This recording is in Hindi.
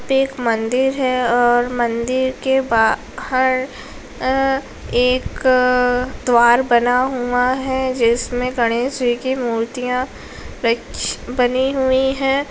ये एक मंदिर है और मंदिर के बाहर एक द्वार बना हुआ है जिसमें गणेश जी की मूर्तियां रख बनी हुई है।